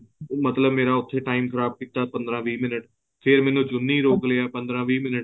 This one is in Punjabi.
ਮਤਲਬ ਮੇਰਾ ਉੱਥੇ time ਖ਼ਰਾਬ ਕੀਤਾ ਪੰਦਰਾ ਵੀਹ ਮਿੰਟ ਫੇਰ ਮੈਨੂੰ ਜੁੰਨੀ ਰੋਕ ਲਿਆ ਪੰਦਰਾ ਵੀਹ ਮਿੰਟ